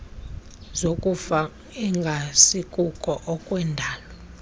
zokufa engasikuko okwendalo